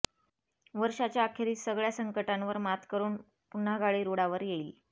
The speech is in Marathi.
वर्षाच्या अखेरीस सगळ्या संकटांवर मात करून पुन्हा गाडी रुळावर येईल